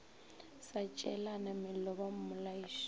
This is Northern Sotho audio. sa tšeelana mello ba mmolaiša